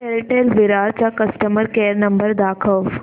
Airtel Virar चा customer care number दाखव